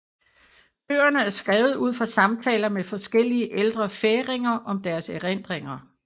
Bøgerne er skrevet ud fra samtaler med forskellige ældre færinger om deres erindringer